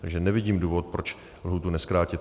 Takže nevidím důvod, proč lhůtu nezkrátit.